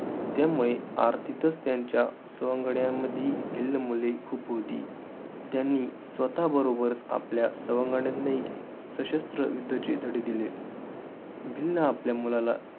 त्यामुळे अर्थीतच त्यांच्या सवंगड्यांमधी भिल्ल मुले खूप होती. त्यांनी स्वतःबरोबर आपल्या सवंगड्यांनाही सशस्त्र युद्धाचे धडे दिले. भिल्ल आपल्या मुलाला,